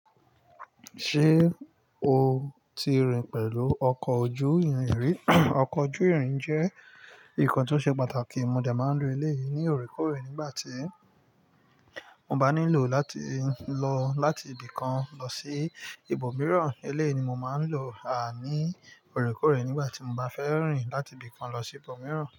Ṣé o ti rìn pẹ̀lú ọkọ̀ ojú ìrìn ri? Ọkọ̀ ojú ìrìn jẹ́ nǹkan tó ṣe pàtàkì. Mo de máa ń lo eleyìí ní òrékòorè nígbà tí mo bá nílò láti lọ láti ibìkan lọ sí ibòmíràn. Eléèni mo máa ń lò à ní òrékòrè nígbà tí mo bá fẹ́ rìn láti ibìkan lọ sí ibòmíràn.